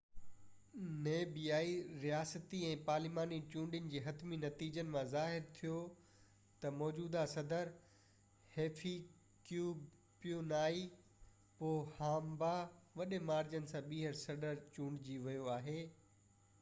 نميبيائي صدارتي ۽ پارلياماني چونڊين جي حتمي نتيجن مان ظاهر ٿيو ته موجوده صدر هفيڪيپيونائي پوهامبا وڏي مارجن سان ٻيهر چونڊجي ويو آهي